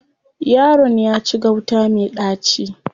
Yaron ya ci gauta me ɗaci.